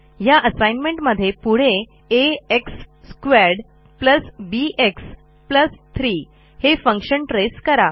ह्या असाईनमेंटमध्ये पुढे आ x2 बीएक्स 3 हे फंक्शन ट्रेस करा